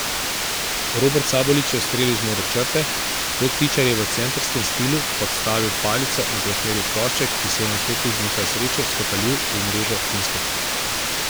Robert Sabolič je ustrelil z modre črte, Rok Tičar je v centerskem stilu podstavil palico in preusmeril plošček, ki se je nato tudi z nekaj sreče skotalil v mrežo Finske.